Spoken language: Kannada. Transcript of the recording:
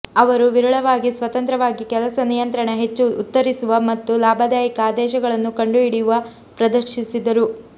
ಅವರು ವಿರಳವಾಗಿ ಸ್ವತಂತ್ರವಾಗಿ ಕೆಲಸ ನಿಯಂತ್ರಣ ಹೆಚ್ಚು ಉತ್ತರಿಸುವ ಮತ್ತು ಲಾಭದಾಯಕ ಆದೇಶಗಳನ್ನು ಕಂಡುಹಿಡಿಯುವ ಪ್ರದರ್ಶಿಸಿದರು